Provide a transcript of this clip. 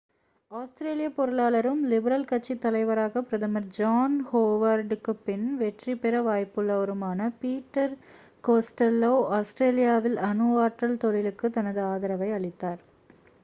ஆஸ்திரேலியப் பொருளாளரும் லிபரல் கட்சித் தலைவராகப் பிரதமர் ஜான் ஹோவர்டுக்குப் பின் வெற்றிபெற வாய்ப்புள்ளவருமான பீட்டர் கோஸ்டெல்லோ ஆஸ்திரேலியாவில் அணு ஆற்றல் தொழிலுக்குத் தனது ஆதரவை அளித்தார்